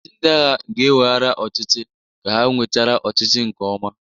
Ọchịchị ndị agha ga-eweghara ọchịchị ka ha nwechara ọchịchị nke ọma